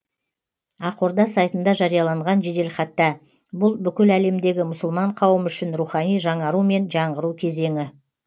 ақорда сайтында жарияланған жеделхатта бұл бүкіл әлемдегі мұсылман қауымы үшін рухани жаңару мен жаңғыру кезеңі